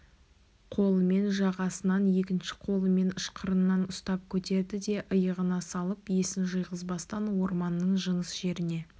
қолымен жағасынан екінші қолымен ышқырынан ұстап көтерді де иығына салып есін жиғызбастан орманның жыныс жеріне